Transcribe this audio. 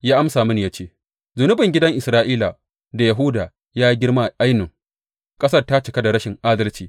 Ya amsa mini ya ce, Zunubin gidan Isra’ila da Yahuda ya yi girma ainun; ƙasar ta cika da rashin adalci.